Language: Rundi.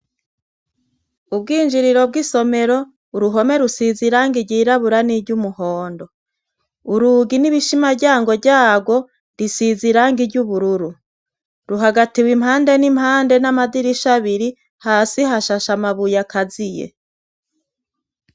Urwinjiriro bw' isomero, uruhome rusiz' irangi ryirabura ni ry' umuhondo, urugi n'ibishimaryango ryago rusiz' irangi ry' ubururu ruhagatiw' impande n' impande n' amadirish' abiri, hasi hashash' amabuy' akaziye.